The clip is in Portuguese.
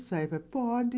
Ele falava, pode.